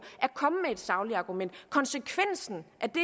at komme med et sagligt argument konsekvensen af det